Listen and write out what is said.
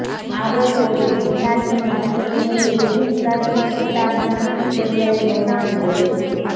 আরও পড়ুনঃপেনাল্টি নষ্ট করলেও জুভেন্তাসের খেতাব নিশ্চিত করলেন রোনাল্ডোই